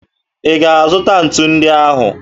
Ị ga-azụta ntu ndị ahụ?